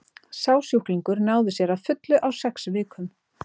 Sá sjúklingur náði sér að fullu á sex vikum.